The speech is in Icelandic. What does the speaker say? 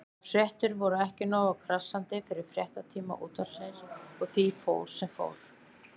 Þær fréttir voru ekki nógu krassandi fyrir fréttatíma Útvarpsins og því fór sem fór.